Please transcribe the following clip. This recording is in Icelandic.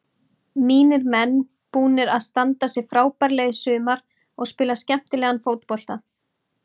Mínir menn búnir að standa sig frábærlega í sumar og spila skemmtilegan fótbolta.